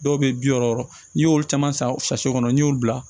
Dɔw bɛ bi wɔɔrɔ n'i y'olu caman san kɔnɔ n'i y'u bila